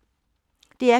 DR P2